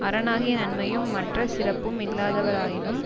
அரணாகிய நன்மையும் மற்ற சிறப்பும் இல்லாதவராயினும்